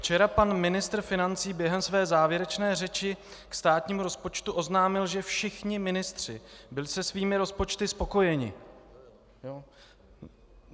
Včera pan ministr financí během své závěrečné řeči ke státnímu rozpočtu oznámil, že všichni ministři byli se svými rozpočty spokojeni.